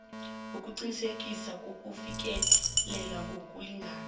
ukuqinisekisa ukufikelela ngokulingana